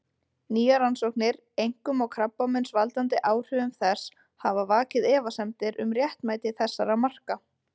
Nýjar rannsóknir, einkum á krabbameinsvaldandi áhrifum þess, hafa vakið efasemdir um réttmæti þessara marka.